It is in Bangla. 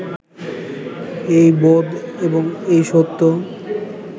এই বোধ এবং এই সত্য